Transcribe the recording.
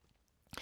DR K